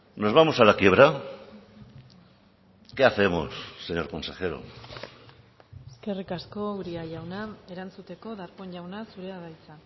nos vamos a la quiebra qué hacemos señor consejero eskerrik asko uria jauna erantzuteko darpón jauna zurea da hitza